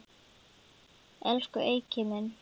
Elsku Eiki minn.